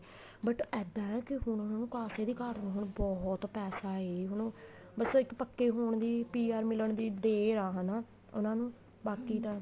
but ਇੱਦਾਂ ਏ ਕੀ ਹੁਣ ਉਹਨਾ ਨੂੰ ਕਾਸੇ ਦੀ ਘਾਟ ਨੀ ਹੁਣ ਉਹਨਾ ਕੋਲ ਬਹੁਤ ਪੈਸਾ ਏ ਹੁਣ ਬੱਸ ਇੱਕ ਪੱਕੇ ਹੋਣ ਦੀ PR ਮਿਲਣ ਦੀ ਦੇਰ ਏ ਹਨਾ ਉਹਨਾ ਨੂੰ ਬਾਕੀ ਤਾਂ